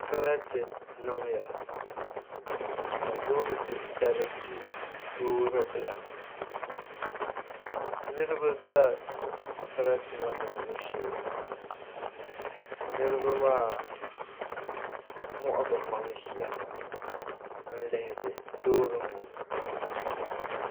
Sarati niŋya ka loori titali du loori bila niraba ʒɛ sarati ŋɔ niŋbu shee niraba maa wuɣi bi maŋ ʒiya n lihiri loori ŋɔ